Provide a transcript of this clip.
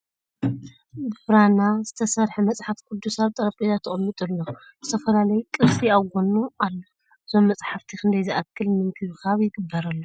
ብ ብራና ዝተሰረሕ መፅሓፍ ቅዱስ ኣብ ጠርጴዛ ተቀሚጡ ኣሎ ። ዝተፈላለዩ ቅርሲ ኣብ ጎኑ ኣሎ ። እዞም ምፅሓፍቲ ክንደይ ዝኣክል ምንክብካብ ይግበረሎም ?